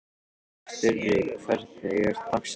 Sturri, hvernig er dagskráin?